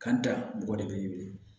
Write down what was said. Kan ta mɔgɔ de be wili